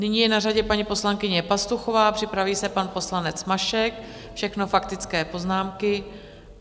Nyní je na řadě paní poslankyně Pastuchová, připraví se pan poslanec Mašek, všechno faktické poznámky.